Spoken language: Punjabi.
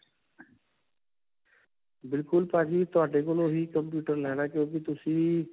ਬਿਲਕੁਲ ਭਾਜੀ ਤੁਹਾਡੇ ਕੋਲੋਂ ਹੀ computer ਲੈਣਾ ਹੈ, ਕਿਉਂਕਿ ਤੁਸੀਂ.